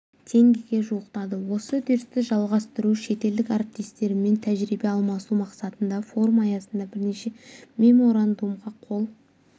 теңгеге жуықтады осы үрдісті жалғастыру шетелдік әріптестерімен тәжірибе алмасу мақсатында форум аясында бірнеше меморандумға қол